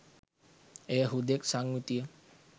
එය හුදෙක් සංයුතිය